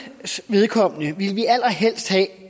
vedkommende ville vi allerhelst have